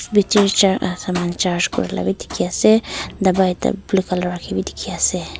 picture charge aa saman charge Kori laga be dikhi ase dawai blue colour rakhi be dikhi ase.